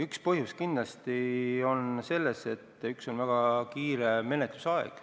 Üks põhjus kindlasti on selles, et on olnud väga lühike menetlusaeg.